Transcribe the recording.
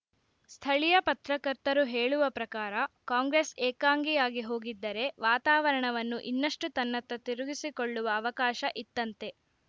ಸ್ಥಳೀಯ ಪತ್ರಕರ್ತರು ಹೇಳುವ ಪ್ರಕಾರ ಕಾಂಗ್ರೆಸ್‌ ಏಕಾಂಗಿ ಆಗಿ ಹೋಗಿದ್ದರೆ ವಾತಾವರಣವನ್ನು ಇನ್ನಷ್ಟುತನ್ನತ್ತ ತಿರುಗಿಸಿಕೊಳ್ಳುವ ಅವಕಾಶ ಇತ್ತಂತೆ